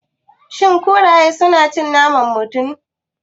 Shin kuraye na cin naman mutum?